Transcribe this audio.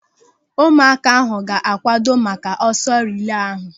Ụmụaka ahụ ga-akwado maka ọsọ rilee ahụ.